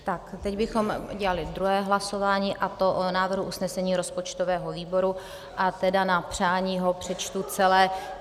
A teď bychom udělali druhé hlasování, a to o návrhu usnesení rozpočtového výboru, a tedy na přání ho přečtu celé.